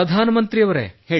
ಪ್ರಧಾನ ಮಂತ್ರಿಯವರೇ